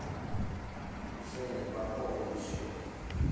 женя пополнить счет